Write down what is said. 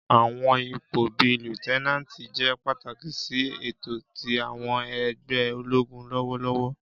Àwọn ipo bii Liutenanti jẹ pataki si eto ti àwọn ẹgbẹ ologun lọwọlọwọ.